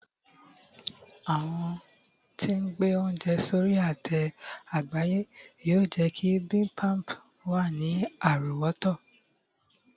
àwọn tí n gbẹ ounjẹ sórí ate àgbáyé yíò jé kí bimbimbap wa ni àrówòtó